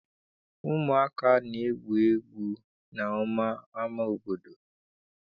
Ụmụaka na-egwu egwu ọnwa n'ama obodo.